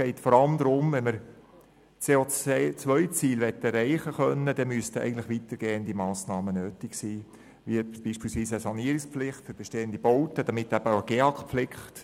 Wenn man die CO-Ziele erreichen möchte, wären eigentlich weitergehende Massnahmen notwendig, wie beispielsweise Lenkungsmassnahmen, Förderabgaben, Sanierungspflicht für bestehende Bauten und damit auch GEAK-Pflicht.